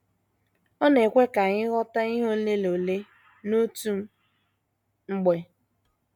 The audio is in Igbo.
Ọ na - ekwe ka anyị ghọta ihe ole na ole n’otu mgbe.